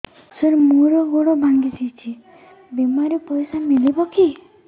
ସାର ମର ଗୋଡ ଭଙ୍ଗି ଯାଇ ଛି ବିମାରେ ପଇସା ମିଳିବ କି